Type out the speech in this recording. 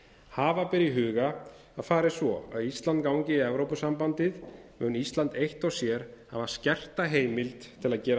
hafa ber í huga að fari svo að ísland gangi í evrópusambandið mun ísland eitt og sér hafa skerta heimild til að gera